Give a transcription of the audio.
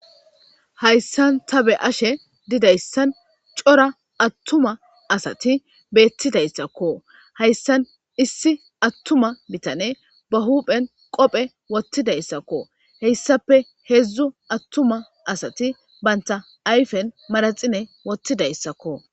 Hayissani ta byashe didayissani coora atuma assati betidayisako. Hayisani issi atuma bitaneyi hupheni qobe wothidayisako hayisape hedzu atuma assati banita ayifeni manaxire wothidayisako